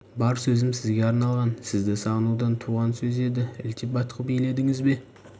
бар сөзім сізге арналған сізді сағынудан туған сөз еді ілтипат қып еледіңіз бе